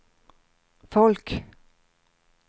folk